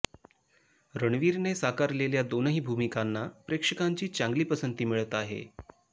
रणवीरने साकारलेल्या दोनही भूमिकांना प्रेक्षकांची चांगली पसंती मिळत आहे